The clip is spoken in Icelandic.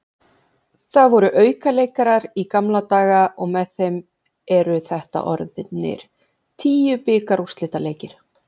Það voru aukaleikir í gamla daga og með þeim eru þetta orðnir tíu bikarúrslitaleikir.